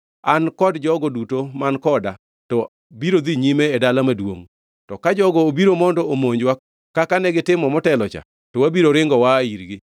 An kod jogo duto man koda, to biro dhi nyime e dala maduongʼ, to ka jogo obiro mondo omonjwa kaka negitimo motelocha, to wabiro ringo waa irgi.